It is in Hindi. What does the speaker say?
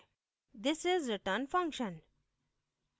this is return function